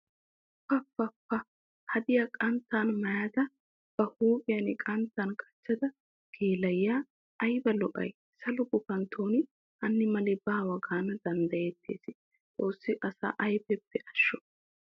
Pa pa pa! Hadiya qanttan maayadda ba huuphiya qanttan qachchidda geela'iya aybba lo'ay salo gufantton hani mali baawa gaana danddayettes. Xoosi asa ayfeppe asho.